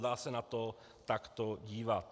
Dá se na to takto dívat.